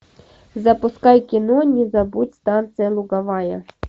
запускай кино не забудь станция луговая